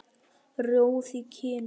Rjóð í kinnum.